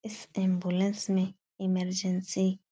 इस एम्बुलेंस में इमरजेंसी --